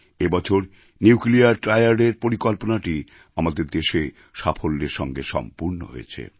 এবছর নিউক্লিয়ার Triadএর পরিকল্পনাটি আমাদের দেশে সাফল্যের সঙ্গে সম্পূর্ণ হয়েছে